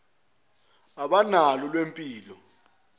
kuwulwazi lwempilo abanalo